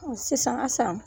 Sisan, Asan.